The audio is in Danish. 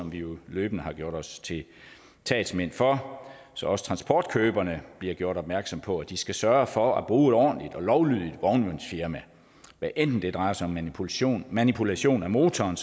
vi jo løbende har gjort os til talsmænd for så også transportkøberne bliver gjort opmærksom på at de skal sørge for at bruge et ordentligt og lovlydigt vognmandsfirma hvad enten det som her drejer sig om manipulation manipulation af motoren